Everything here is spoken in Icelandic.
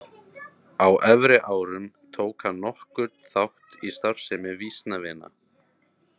Á efri árum tók hann nokkurn þátt í starfsemi Vísnavina.